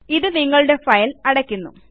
ഇത് നിങ്ങളുടെ ഫയൽ അടയ്ക്കുന്നു